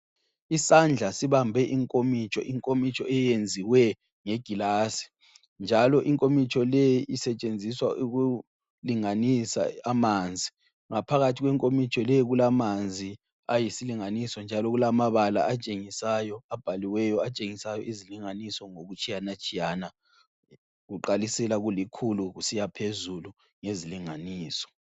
Isandla sibambe inkomitsho, inkomitsho eyenziwe nge gilasi njalo inkomitsho leyi isetshenziswa ukulinganisa amanzi, ngaphakathi kwenkomitsho leyo kulamanzi ayisilinganiso njalo kulamabala atshengisayo abhaliweyo atshengisayo izilingansio ngokutshiyana tshiyana kuqalisela kulikhulu kusiya phezulu ngezilinganiso.